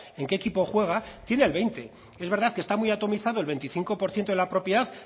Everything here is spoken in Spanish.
en qué equipo juega tiene el veinte es verdad que está muy atomizado el veinticinco por ciento de la propiedad